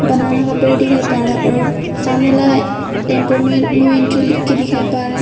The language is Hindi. बनाना का पेड़ दिखाइए और सामने वाला टेंपो में नो एंट्री लिखके दिखाएं पड़ रहा है।